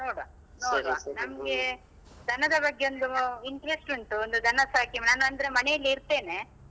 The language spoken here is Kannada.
ನೋಡುವ ನಮ್ಗೇ ದನದ ಬಗ್ಗೆ ಒಂದ್ interest ಉಂಟು, ಒಂದು ದನ ಸಾಕಿ ನಾನ್ ಅಂದ್ರೆ ಮನೆಯಲ್ಲಿ ಇರ್ತೆನೆ.